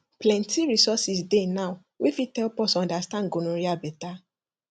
plenty resources dey now wey fit help us understand gonorrhea better